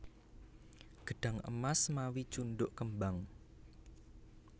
Gedhang emas mawi cundhuk kembang